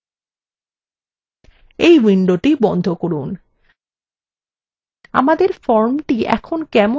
এই window বন্ধ করুন